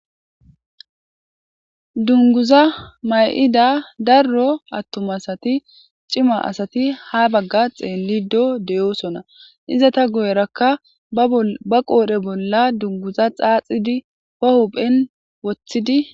dunguza may7ida darro attumasati cima asati ha bagga xeellido deyoosona izata guyerakka ba qoodhe bolla dunguza xaaxidi ba hopphen wothidi